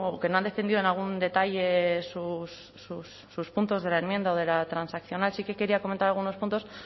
que no han defendido en algún detalle sus puntos de la enmienda o de la transaccional sí que quería comentar algunos puntos